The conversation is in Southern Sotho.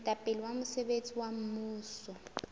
moetapele wa mosebetsi wa mmuso